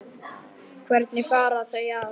Hvernig fara þau að?